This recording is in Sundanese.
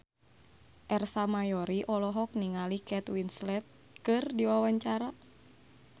Ersa Mayori olohok ningali Kate Winslet keur diwawancara